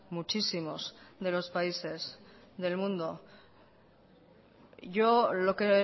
muchísimos de los países del mundo yo lo que